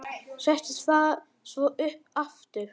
Setti það svo upp aftur.